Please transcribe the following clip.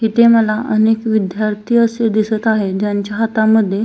इथे मला अनेक विद्यार्थी असे दिसत आहे ज्यांच्या हातामध्ये--